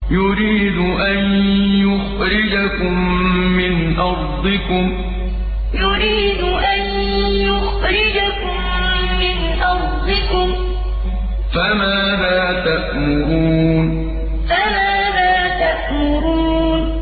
يُرِيدُ أَن يُخْرِجَكُم مِّنْ أَرْضِكُمْ ۖ فَمَاذَا تَأْمُرُونَ يُرِيدُ أَن يُخْرِجَكُم مِّنْ أَرْضِكُمْ ۖ فَمَاذَا تَأْمُرُونَ